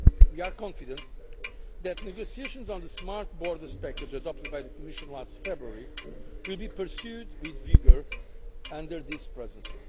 We are confident that negotiations on the Smart Borders package adopted by the Commission last February will be pursued with vigour under this Presidency.